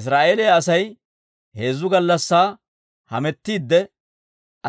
Israa'eeliyaa Asay heezzu gallassaa hametiidde,